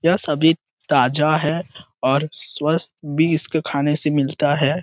यह सभी ताजा है और स्वस्थ भी उसके खाने से मिलता है।